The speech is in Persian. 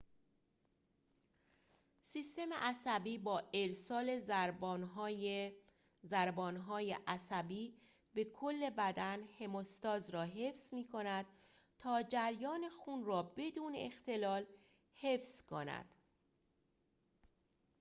سیستم عصبی با ارسال ضربان‌های عصبی به کل بدن هموستاز را حفظ می کند تا جریان خون را بدون اختلال حفظ کند